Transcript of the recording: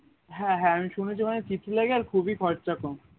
হ্যাঁ হ্যাঁ আমি শুনেছি ওখানে লাগে আরও খুবই খরচা কম